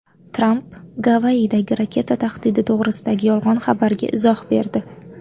Tramp Gavayidagi raketa tahdidi to‘g‘risidagi yolg‘on xabarga izoh berdi.